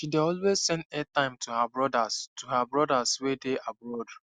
she dey always send airtime to her brothers to her brothers wey dey abroad